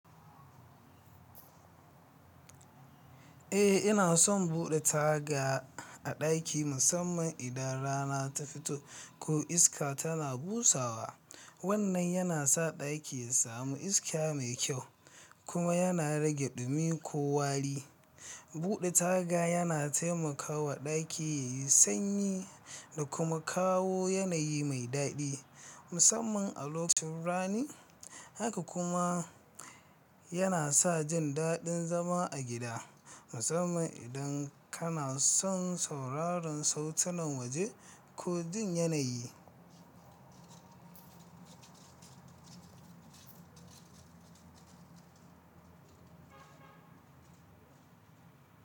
Eh, ina son buɗe taga a ɗaki, musamman idan rana ta fito ko iska tana busawa. Wannan yana sa ɗaki ya sami iska mai kyau kuma yana rage ɗumi ko wari. Buɗe taga yana taimakawa ɗaki yayi sanyi da kuma kawo yanayi mai daɗi, musamman a lokacin rani. Haka kuma yana sa jin daɗin zama a gida, musamman idan kana son sauraron sautunan waje ko jin yanayi.